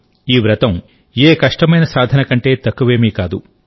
ఈ వ్రతం ఏ కష్టమైన సాధన కంటే తక్కువేమీ కాదు